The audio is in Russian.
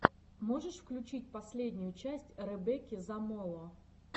можешь включить последнюю часть ребекки замоло